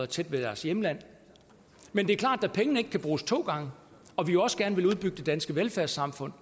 tæt ved deres hjemland men det er klart at da pengene ikke kan bruges to gange og vi jo også gerne vil udbygge det danske velfærdssamfund